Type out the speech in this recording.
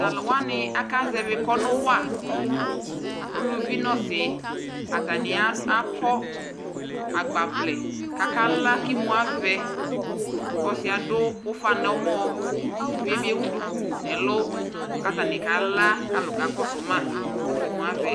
Taluwani akaʒɛvɛ kɔnuwa uluuvi nosiatafni akɔ agbavlɛ kakala kimuavɛ ɔɔsiɛ aduu ufa nɔmɔ kuluvie bi ewu duku nɛlu katanikala kalu kakɔsu ma kimuavɛ